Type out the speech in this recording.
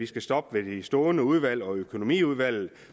skal stoppe ved de stående udvalg og økonomiudvalget